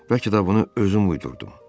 Bəlkə də bunu özüm uydurdum.